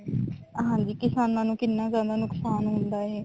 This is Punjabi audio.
ਹਾਂਜੀ ਕਿਸਾਨਾਂ ਨੂੰ ਕਿੰਨਾ ਜਿਆਦਾ ਨੁਕਸਾਨ ਹੁੰਦਾ ਹੈ